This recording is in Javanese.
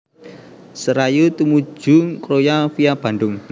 Serayu tumuju Kroya via Bandung